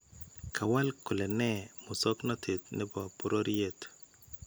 Kawaal kole nee musoknotet nebo bororyeet